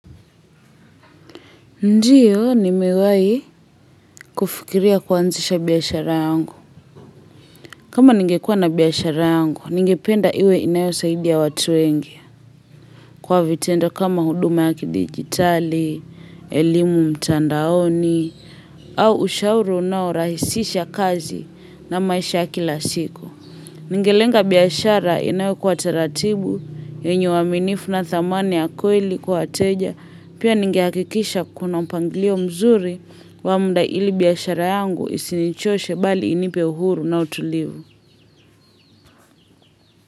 Ndiyo, nimewai kufikiria kuanzisha biashara yangu. Kama ningekuwa na biashara yangu, ningependa iwe inayo saidia watu wengi. Kwa vitendo kama huduma ya kidigitali, elimu mtandaoni, au ushauru nao rahisisha kazi na maisha ya kila siku. Ningelenga biashara inayo kuwa taratibu, yenye uaminifu na thamana ya kweli kwa wateja, pia ningehakikisha kuna mpangilio mzuri wa muda ili biashara yangu isinichoshe bali inipe uhuru na utulivu.